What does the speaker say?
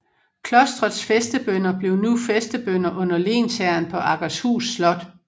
Klostrets fæstebønder blev nu fæstebønder under lensherren på Akershus slot